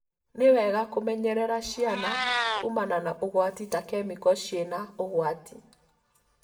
Nĩ wega kũmenyerera ciana kũmana na ũgwati ta kemiko cĩĩna ũgwati.